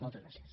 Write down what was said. moltes gràcies